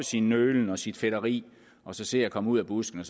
sin nølen og sit fedteri og se at komme ud af busken